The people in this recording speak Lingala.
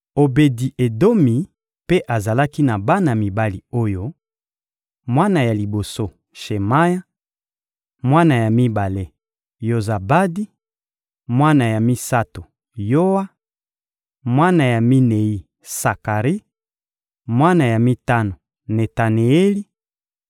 Obedi-Edomi mpe azalaki na bana mibali oyo: mwana ya liboso, Shemaya; mwana ya mibale, Yozabadi; mwana ya misato, Yoa; mwana ya minei, Sakari; mwana ya mitano, Netaneeli;